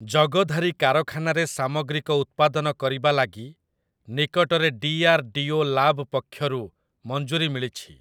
ଜଗଧାରୀ କାରଖାନାରେ ସାମଗ୍ରିକ ଉତ୍ପାଦନ କରିବା ଲାଗି ନିକଟରେ ଡି.ଆର୍‌.ଡି.ଓ. ଲାବ୍ ପକ୍ଷରୁ ମଞ୍ଜୁରୀ ମିଳିଛି ।